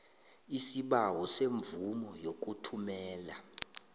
isibawo semvumo yokuthumela